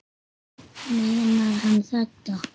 Meinar hann þetta?